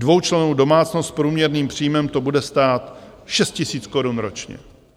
Dvoučlennou domácnost s průměrným příjmem to bude stát šest tisíc korun ročně.